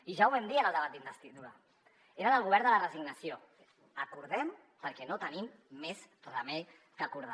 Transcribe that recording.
i ja ho vam dir en el debat d’investidura eren el govern de la resignació acordem perquè no tenim més remei que acordar